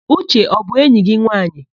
Uche ọ bụ enyi gị nwaanyị?